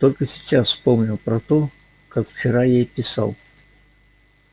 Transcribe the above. только сейчас вспомнил про то как вчера ей писал